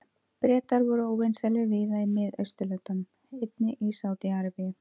Bretar voru óvinsælir víða í Mið-Austurlöndum, einnig í Sádi-Arabíu.